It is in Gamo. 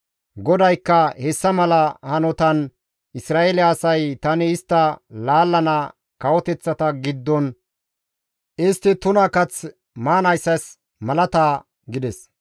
GODAYKKA, «Hessa mala hanotan Isra7eele asay tani istta laallana kawoteththata giddon istti tuna kath maanayssas malata» gides.